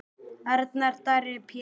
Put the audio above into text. Arnar Darri Péturs.